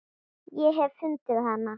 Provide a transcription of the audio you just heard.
Ég hef fundið hana.